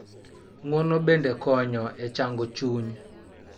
Ng�uono bende konyo e chango chuny,